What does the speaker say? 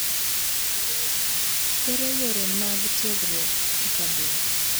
Ere yore mag tiegruok ekambino.